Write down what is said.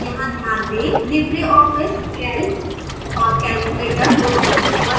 यहाँ ध्यान दें libreoffice calc और calculator दोनों सूचीबद्ध हैं